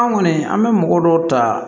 An kɔni an bɛ mɔgɔ dɔw ta